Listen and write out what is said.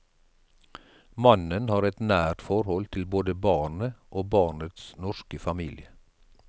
Mannen har et nært forhold til både barnet og barnets norske familie.